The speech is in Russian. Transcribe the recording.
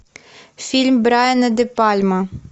фильм брайана де пальма